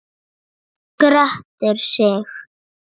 Grettir sig.